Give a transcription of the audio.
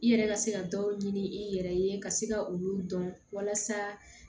I yɛrɛ ka se ka dɔw ɲini i yɛrɛ ye ka se ka olu dɔn walasa